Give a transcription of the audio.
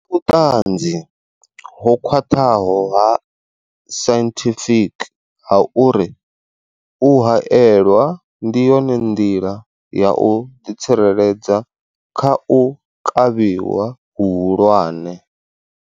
Vhuṱanzi ho khwaṱhaho ha sainthifiki ha uri u haelwa ndi yone nḓila ya u ḓitsireledza kha u kavhiwa hu hulwane.